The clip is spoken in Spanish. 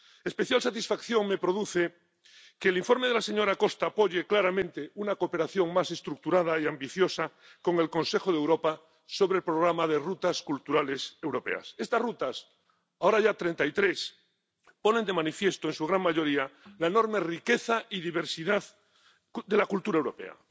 Especial satisfacción me produce que el informe de la señora Costa apoye claramente una cooperación más estructurada y ambiciosa con el Consejo de Europa sobre el programa de rutas culturales europeas. Estas rutas, ahora ya 33, ponen de manifiesto en su gran mayoría la enorme riqueza y diversidad de la cultura europea.